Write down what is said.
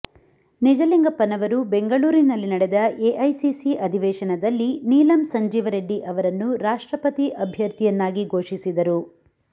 ನಿಜಲಿಂಗಪ್ಪನವರು ಬೆಂಗಳೂರಿನಲ್ಲಿ ನಡೆದ ಎಐಸಿಸಿ ಅಧಿವೇಶನದಲ್ಲಿ ನೀಲಂ ಸಂಜೀವ್ ರೆಡ್ಡಿ ಅವರನ್ನು ರಾಷ್ಟ್ರಪತಿ ಅಭ್ಯರ್ಥಿಯನ್ನಾಗಿ ಘೋಷಿಸಿದರು